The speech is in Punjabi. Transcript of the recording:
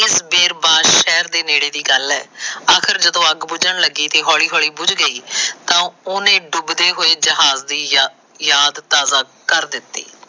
ਕੁਝ ਦੇਰ ਬਾਦ ਸ਼ਹਿਰ ਦੇ ਨੇੜੇ ਦੀ ਗੱਲ ਆ। ਆਖਰ ਜਦੋ ਅੱਗ ਬੁਜਣ ਲੱਗੀ ਤੇ ਹੌਲੀ ਹੌਲੀ ਬੁਜਗੀ ਤਾਂ ਉਹਨੇ ਡੁਬਦੇ ਹੋਏ ਜਹਾਜ਼ ਦੀ ਯਾਦ ਤਾਜ਼ਾ ਕਰ ਦਿੱਤੀ।